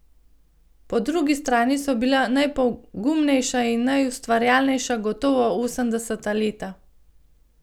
Po drugi strani so bila najpogumnejša in najustvarjalnejša gotovo osemdeseta leta.